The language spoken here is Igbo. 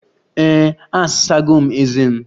Ee, asago m ezé m.